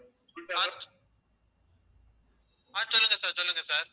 ஆஹ் சொல்லுங்க sir சொல்லுங்க sir